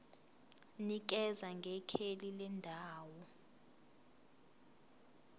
nikeza ngekheli lendawo